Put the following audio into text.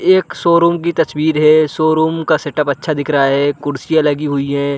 एक शोरूम की तस्वीर है शोरूम का सेटअप अच्छा दिख रहा है कुर्सियाँ लगी हुई हैं ।